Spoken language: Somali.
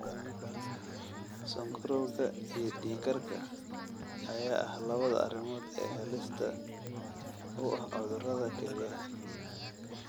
Sonkorowga iyo dhiig karka ayaa ah labada arrimood ee halista u ah cudurrada kelyaha.